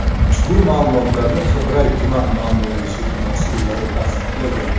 Ushbu ma’lumotlarni Qibray tuman ma’muriy sudi mas’ullari tasdiqlagan.